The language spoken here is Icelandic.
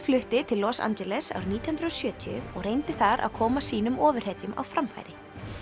flutti til Los Angeles árið nítján hundruð og sjötíu og reyndi þar að koma sínum ofurhetjum á framfæri